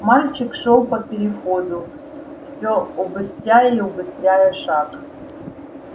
мальчик шёл по переходу все убыстряя и убыстряя шаг